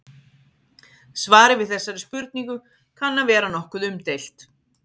Svarið við þessari spurningu kann að vera nokkuð umdeilt.